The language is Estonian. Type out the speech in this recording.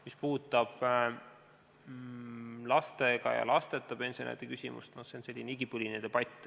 Mis puudutab lastega ja lasteta pensionäride küsimust, siis see on selline igipõline debatt.